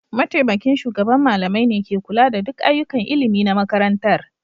Mataimakin shugaban malamai ne ke kula da duk ayyukan ilimi na makarantar.